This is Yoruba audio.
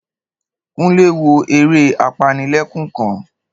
Kúnlé wo eré apanilẹ́kún kan